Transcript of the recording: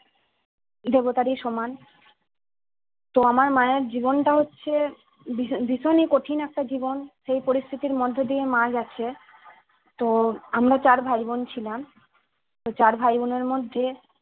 দেবতারই সমান তো আমার জীবনটা হচ্ছে ভীষণ ভীষণ ই কঠিন একটা জীবন সেই পরিস্থিতির মধ্যে দিয়ে মা যাচ্ছে তো আমরা চার ভাই বোন ছিলাম তো চার ভাই বোনের মধ্যে